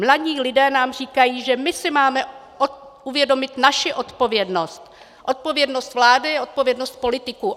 Mladí lidé nám říkají, že my si máme uvědomit naši odpovědnost, odpovědnost vlády, odpovědnost politiků.